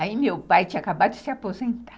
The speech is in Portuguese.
Aí meu pai tinha acabado de se aposentar.